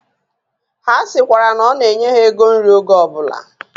Ha sikwara na ona enye ha ego nri oge obula